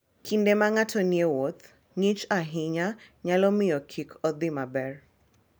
Kinde ma ng'ato nie wuoth, ng'ich ahinya nyalo miyo kik odhi maber.